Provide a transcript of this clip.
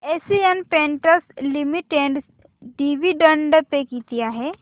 Asian Paints Limited dividend pay किती आहे